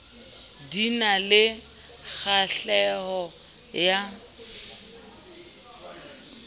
di na le kgahleho ya